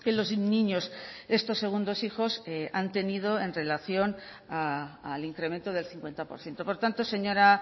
los niños estos segundos hijos han tenido en relación al incremento del cincuenta por ciento por tanto señora